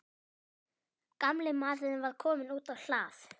Gamli maðurinn var kominn út á hlað.